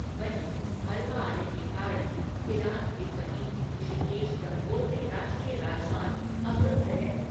वहीं, मलबा आने के कारण थिरांग के समीप ऋषिकेश गंगोत्री राष्ट्रीय राजमार्ग अवरुद्ध है।